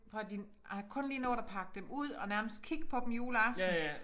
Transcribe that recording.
Prøv at hør dine har kun lige nået pakke dem ud og nærmest kigge på dem juleaften